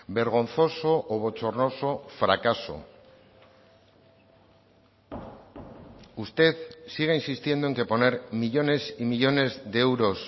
vergonzoso o bochornoso fracaso usted siga insistiendo en que poner millónes y millónes de euros